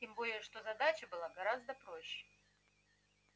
тем более что задача была гораздо проще